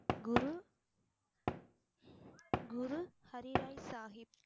Guru Guru Har Rai Sahib.